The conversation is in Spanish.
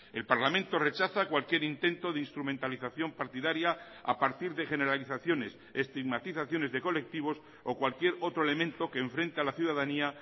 el parlamento rechaza cualquier intento de instrumentalización partidaria a partir de generalizaciones estigmatizaciones de colectivos o cualquier otro elemento que enfrente a la ciudadanía